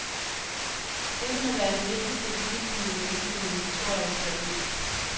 Dette må være den vigtigste begivenhed i menneskehedens historie, skrev én.